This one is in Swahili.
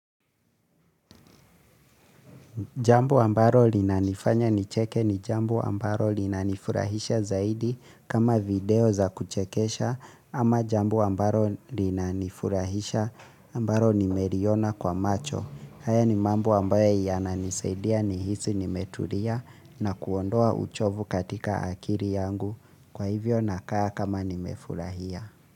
Jambo ambalo linanifanya nicheke ni jambo ambalo linanifurahisha zaidi kama video za kuchekesha ama jambo ambalo linanifurahisha ambalo nimeliona kwa macho. Haya ni mambo ambayo yananisaidia ni hisi nimetulia na kuondoa uchovu katika akili yangu kwa hivyo nakaa kama nimefurahia.